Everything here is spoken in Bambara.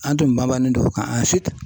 An tun banbannen don o kan